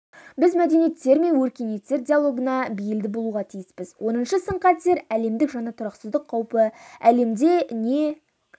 біз мәдениеттер мен өркениеттер диалогына бейілді болуға тиіспіз оныншы сын-қатер әлемдік жаңа тұрақсыздық қаупі әлемде не